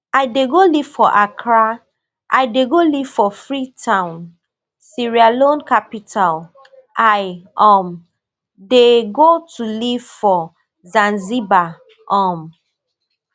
i dey go live for accra i dey go live for freetown [sierra leone capital] i um dey go to live for zanzibar um